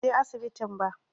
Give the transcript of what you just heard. Jiya ban je asibitin ba